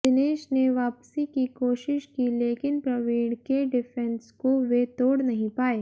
दिनेश ने वापसी की कोशिश की लेकिन प्रवीण के डिफेंस को वे तोड़ नहीं पाए